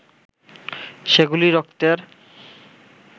সেগুলি রক্তের